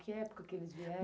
Que época que eles vieram?